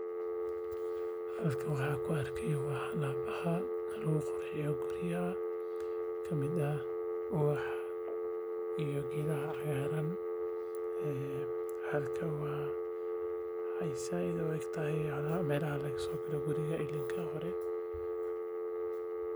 Halkan waxaan ku arkayaa ubaxyo qurux badan. Waxaa lagu qurxiyaa guryaha si ay u ekaadaan kuwo nadiif ah oo soo jiidasho leh. Ubaxyadani waxay keenaan farxad iyo udgoon.